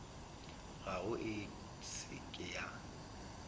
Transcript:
gago e se ke ya